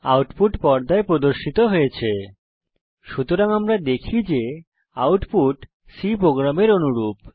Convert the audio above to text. output পর্দায় প্রদর্শিত হয়েছে সুতরাং আমরা দেখি যে আউটপুট C প্রোগ্রামের অনুরূপ